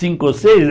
Cinco ou seis?